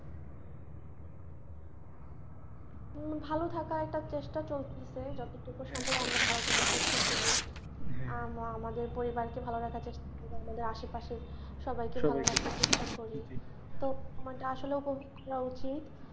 তো ভালো থাকার একটা চেষ্টা চলছে যতটুকু সম্ভব আমরা ভালো থাকার চেষ্টা করি আমাদের পরিবারকে ভালো রাখার চেষ্টা করি আমাদের আশেপাশে সবাই কে ভালো রাখার চেষ্টা করি আমাদের আসলে উচিৎ,